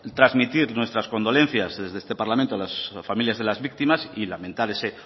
trasmitir nuestras condolencias desde este parlamento a las familias de las víctimas y lamentar ese